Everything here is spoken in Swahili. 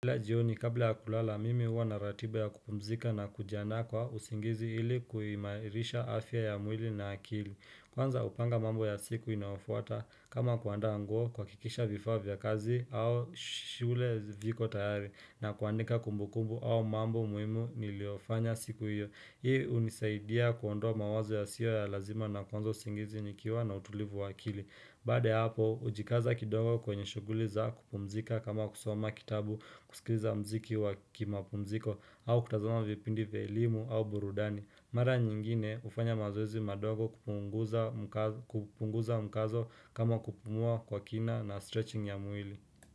Kila jioni, kabla ya kulala, mimi huwa na ratiba ya kupumzika na kujiandaa kwa usingizi ili kuimairisha afya ya mwili na akili. Kwanza hupanga mambo ya siku inafuata kama kuandaa nguo kuhakikisha vifaa vya kazi au shule viko tayari na kuandika kumbukumbu au mambo muhimu niliofanya siku iyo. Hii unisaidia kuondoa mawazo ya sio ya lazima na kwanza usingizi nikiwa na utulivu wa akili. Bade hapo, hujikaza kidogo kwenye shughuli za kupumzika kama kusoma kitabu kusikiza mziki wa kimapumziko au kutazama vipindi vya elimu au burudani. Mara nyingine hufanya mazoezi madogo kupunguza mkazo kama kupumua kwa kina na stretching ya mwili.